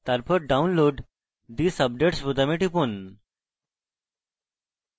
তারপর download these updates বোতামে টিপুন